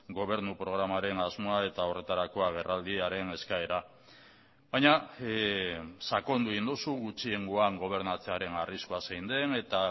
gobernu programaren asmoa eta horretarako agerraldiaren eskaera baina sakondu egin duzu gutxiengoan gobernatzearen arriskua zein den eta